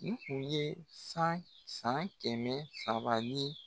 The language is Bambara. Nin kun ye san san kɛmɛ saba ni